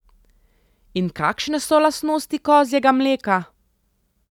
In kakšne so lastnosti kozjega mleka?